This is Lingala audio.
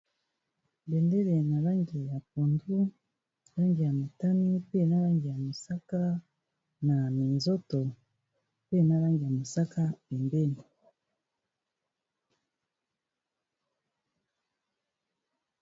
Bendele na langi ya pondu langi ya matami pe na langi ya mosaka na minzoto pe na langi ya mosaka pembeni .